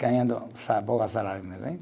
Ganhando o sa, pouco salário mesmo hein.